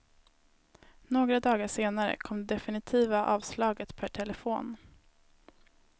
Några dagar senare kom det definitiva avslaget per telefon.